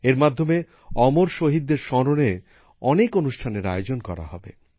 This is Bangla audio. এর মাধ্যমে অমর শহীদদের স্মরণে অনেক অনুষ্ঠানের আয়োজন করা হবে